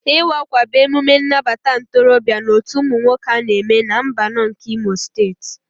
Iwa akwa bụ emume nnabata ntorobịa na otú ụmụ nwoke ana eme na mbano nke imo steeti.